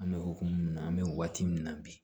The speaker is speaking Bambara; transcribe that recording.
An bɛ hokumu mun na an bɛ waati min na bi